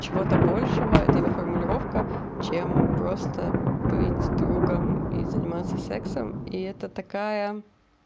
чего-то большего это его формулировка чем просто быть другом и заниматься сексом и это такая